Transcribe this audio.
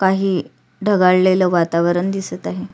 काही ढगाळलेले वातावरण दिसत आहे.